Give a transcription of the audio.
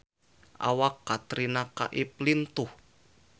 Awak Katrina Kaif lintuh